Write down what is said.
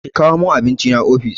Ki kawo min abincina ofis!